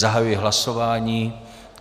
Zahajuji hlasování.